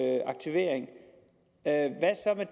kan tage